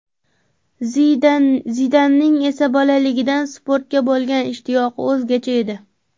Zidanning esa bolaligidan sportga bo‘lgan ishtiyoqi o‘zgacha edi.